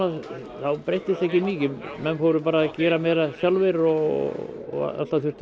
þá breyttist ekki mikið menn fóru bara að gera meira sjálfir og alltaf þurfti